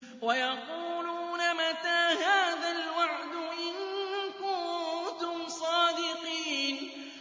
وَيَقُولُونَ مَتَىٰ هَٰذَا الْوَعْدُ إِن كُنتُمْ صَادِقِينَ